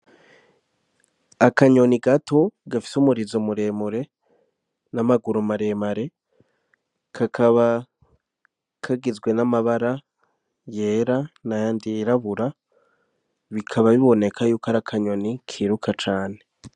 Akanyoni gato gafise umurizo muremure n'amaguru maremare kakaba kagizwe n'amabara yera na yandi yirabura bikaba biboneka yuko ari akanyoni kiruka cane.